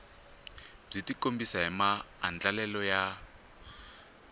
byi tikombisa hi maandlalelo ya